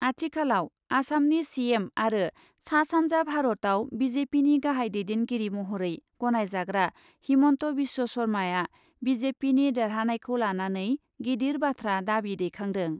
आथिखालाव आसामनि सिएम आरो सा सान्जा भारतयाव बिजेपिनि गाहाय दैदेनगिरि महरै गनायजाग्रा हिमन्त बिस्व सरमाआ बिजेपिनि देरहानायखौ लानानै गिदिर बाथ्रा दाबि दैखांदों ।